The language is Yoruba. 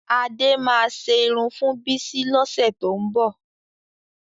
Adé máa ṣe irun fún Bísí lọ́sẹ̀ tó ń bọ̀